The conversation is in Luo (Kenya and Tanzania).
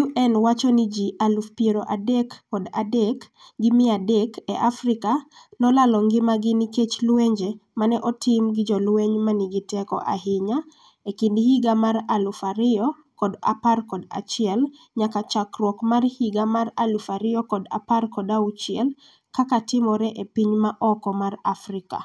UN wacho ni ji 33,300 e Afrika nolalo ngimagi nikech lwenje ma ne otim gi jolweny ma nigi teko ahinya e kind higa mar 2011 nyaka chakruok mar higa mar 2016. kaka timore e piny ma oko mar Afrika.